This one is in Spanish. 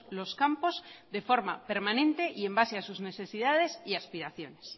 los campos de forma permanente y en base a sus necesidades y aspiraciones